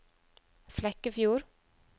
Flekkefjord